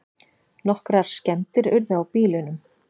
Nokkrar skemmdir urðu á bílunum